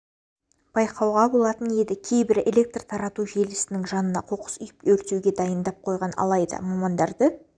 байқауға болатын еді кейбірі электр тарату желісінің жанына қоқыс үйіп өртеуге дайындап қойған алайда мамандарды